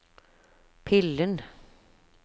pillen